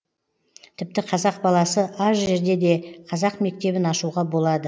тіпті қазақ баласы аз жерде де қазақ мектебін ашуға болады